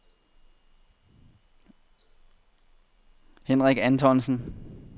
Henrik Antonsen